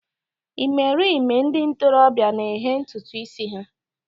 Ịmerime ndị ntorobịa na-eghe ntutu ísí ha.